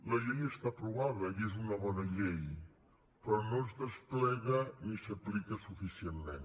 la llei està aprovada i és una bona llei però no es desplega ni s’aplica suficientment